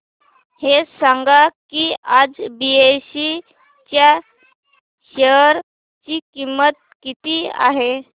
हे सांगा की आज बीएसई च्या शेअर ची किंमत किती आहे